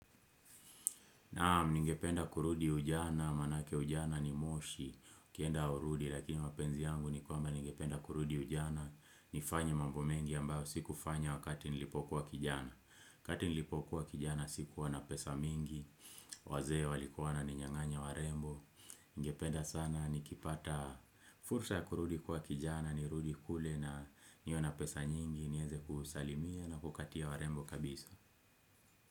Naam, ningependa kurudi ujana, maanake ujana ni moshi, ukienda haurudi, lakini mapenzi yangu ni kwamba ningependa kurudi ujana, nifanya mambo mengi ambayo sikufanya wakati nilipokuwa kijana. Wakati nilipo kuwa kijana sikuwa na pesa mingi, wazee walikuwa wananinyang'anya warembo, ningependa sana nikipata fursa ya kurudi kuwa kijana, nirudi kule na niwe na pesa nyingi, nieze kusalimia na kukatia warembo kabisa.